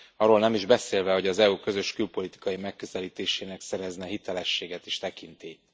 Arról nem is beszélve, hogy az EU közös külpolitikai megközelítésének szerezne hitelességet és tekintélyt.